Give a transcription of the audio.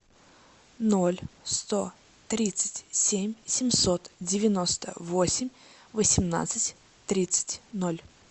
ноль сто тридцать семь семьсот девяносто восемь восемнадцать тридцать ноль